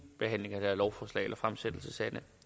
fremsættelse